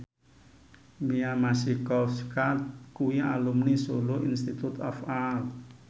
Mia Masikowska kuwi alumni Solo Institute of Art